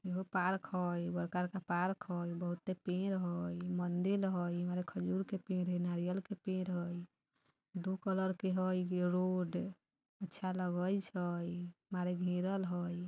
इहो पार्क हई बड़का-बड़का पार्क हई बहुते पेड़ हई मंदिल हैइ एमे खजूर के पेड़ हई नारियल के पेड़ हई दो कलर के हई गे रोड अच्छा लगइ छै मार घेरल हई।